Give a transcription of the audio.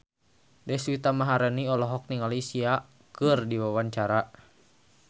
Deswita Maharani olohok ningali Sia keur diwawancara